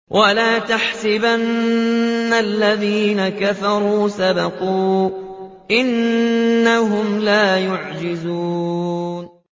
وَلَا يَحْسَبَنَّ الَّذِينَ كَفَرُوا سَبَقُوا ۚ إِنَّهُمْ لَا يُعْجِزُونَ